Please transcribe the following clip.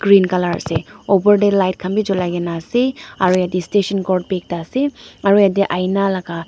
green colour ase opor te light khan bi jolai kena ase aro yate station code bi ekta ase aro yate ina laga.